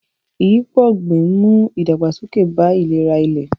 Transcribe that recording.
Ìyípo ọ̀gbìn ń mú ìdàgbàsókè bá ìlera ilẹ̀.